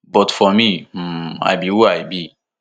but for me um i be who i be